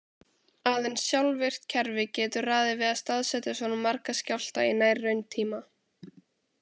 Aðeins sjálfvirkt kerfi getur ráðið við að staðsetja svo marga skjálfta í nær-rauntíma.